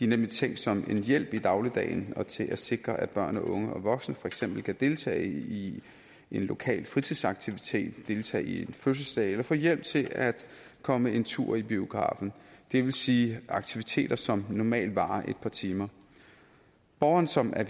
nemlig tænkt som en hjælp i dagligdagen og til at sikre at børn og unge og voksne for eksempel kan deltage i en lokal fritidsaktivitet deltage i fødselsdage eller få hjælp til at komme en tur i biografen det vil sige aktiviteter som normalt varer et par timer borgeren som er